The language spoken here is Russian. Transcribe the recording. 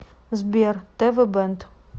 сбер тэ вэ бэнд